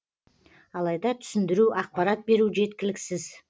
алайда түсіндіру ақпарат беру жеткіліксіз